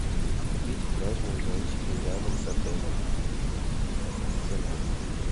купить пляжные зонтики рядом с отелем цена